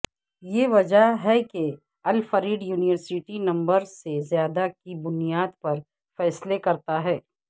یہ وجہ ہے کہ الفریڈ یونیورسٹی نمبرز سے زیادہ کی بنیاد پر فیصلے کرتا ہے